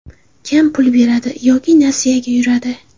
Kam pul beradi yoki nasiyaga yuradi.